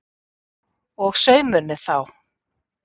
Og saumurinn þá?